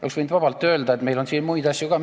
Oleks võinud vabalt öelda, et meil on siin muid asju ka.